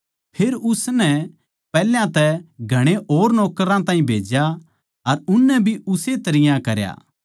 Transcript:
फेर उसनै पैहल्या तै घणे और नौकरां ताहीं भेज्या अर उननै भी उस्से तरियां करया